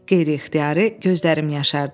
Qeyri-ixtiyari gözlərim yaşardı.